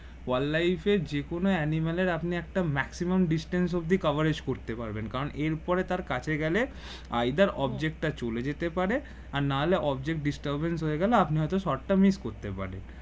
wildlife এ যে কোন animal আপনি একটা maximum distance অব্দি coverage করতে পারবেন কারণ এর পরে তো কাছে গেলে object টা চলে যেতে পারে না হলে object disturbance হয়ে গেলে আপনি হয়তো short টা miss করতে পারেন